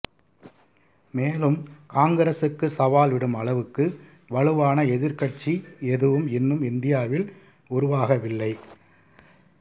மேலும் காங்கிரசுக்கு சவால் விடும் அளவுக்கு வலுவான எதிர்க்கட்சி எதுவும் இன்னும் இந்தியாவில் உருவாகவில்லை